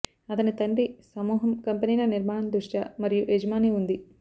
అతని తండ్రి సమూహం కంపెనీల నిర్మాణ ద్రష్ట మరియు యజమాని ఉంది